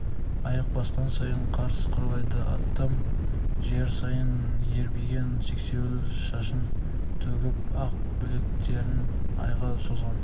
аяқ басқан сайын қар сықырлайды аттам жер сайын ербиген сексеуіл шашын төгіп ақ білектерін айға созған